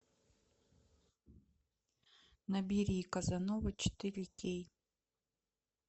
набери казанова четыре кей